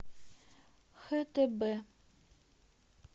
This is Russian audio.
хтб